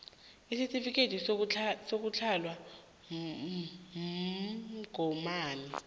isitifikhethi sokuhlatjelwa umgomani